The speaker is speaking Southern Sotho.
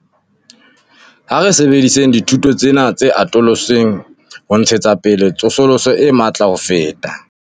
Ha re sebedisetseng dithuso tsena tse atolotsweng ho ntshetsa pele tsosoloso e matla ho feta.